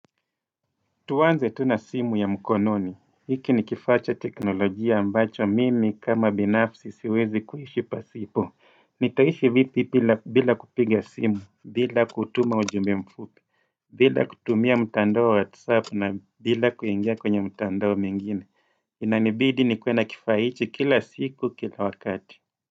Tuanze tu na simu ya mkononi. Hiki ni kifaa cha teknolojia ambacho mimi kama binafsi siwezi kuishi pasipo. Nitaishi vipi bila kupiga simu, bila kutuma ujumbe mfupi, bila kutumia mtandao wa WhatsApp na bila kuingia kwenye mtandao mengine. Inanibidi nikuwe na kifaa hichi kila siku kila wakati.